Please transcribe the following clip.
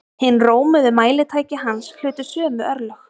Hin rómuðu mælitæki hans hlutu sömu örlög.